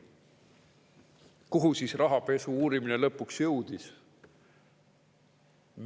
Kuhu siis rahapesu uurimine lõpuks jõudis?